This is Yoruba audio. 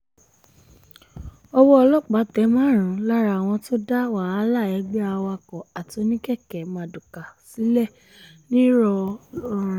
owó ọlọ́pàá tẹ márùn-ún lára àwọn tó dá wàhálà ẹgbẹ́ awakọ̀ àti oníkèké mardukà sílẹ̀ ńlọrọrin